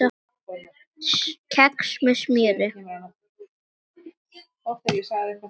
Kex með smjöri